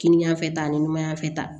Kini ɲɛfɛ ta ni maɲa fɛ